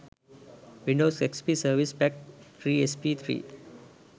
windows xp service pack 3 sp3